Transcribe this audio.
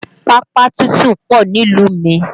Pápá tútù pọ nílùú mi